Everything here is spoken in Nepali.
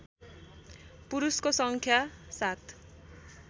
पुरुषको सङ्ख्या सात